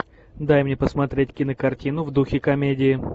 дай мне посмотреть кинокартину в духе комедии